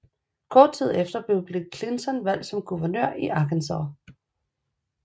Kort tid efter blev Bill Clinton valgt til guvernør i Arkansas